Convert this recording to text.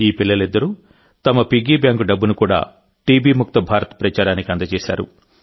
ఈ పిల్లలిద్దరూ తమ పిగ్గీ బ్యాంకు డబ్బును కూడా టీబీముక్త భారత్ ప్రచారానికి అందజేశారు